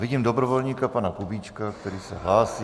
Vidím dobrovolníka pana Kubíčka, který se hlásí.